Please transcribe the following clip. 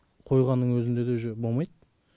қойғанның өзінде де уже болмайды